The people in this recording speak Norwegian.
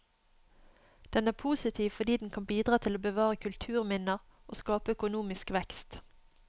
Den er positiv fordi den kan bidra til å bevare kulturminner og skape økonomisk vekst.